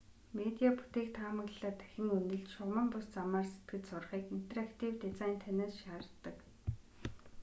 медиа бүтээх тухай таамаглалаа дахин үнэлж шугаман бус замаар сэтгэж сурахыг интерактив дизайн танаас шаарддаг